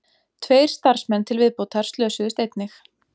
Tveir starfsmenn til viðbótar slösuðust einnig